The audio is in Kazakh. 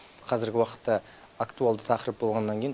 қазіргі уақытта актуалды тақырып болғаннан кейін